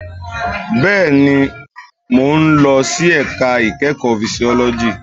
Bẹ́ẹ̀ni, mo ń lọ sí ẹ̀ka ìkẹ́kọ̀ọ́ fisiọ́lọ́jì